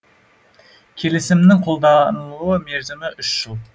келісімнің қолданылу мерзімі үш жыл